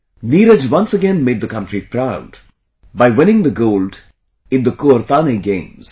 Neeraj once again made the country proud by winning the gold in Kuortane Games